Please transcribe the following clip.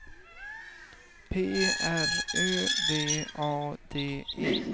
P R Ö V A D E